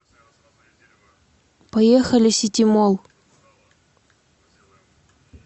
поехали ситимолл